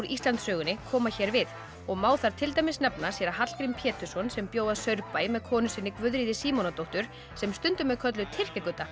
Íslandssögunni koma hér við má þar til dæmis nefna séra Hallgrím Pétursson sem bjó að Saurbæ með konu sinni Guðríði Símonardóttur sem stundum er kölluð Tyrkja